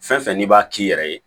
Fɛn fɛn n'i b'a k'i yɛrɛ ye